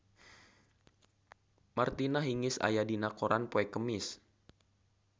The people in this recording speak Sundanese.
Martina Hingis aya dina koran poe Kemis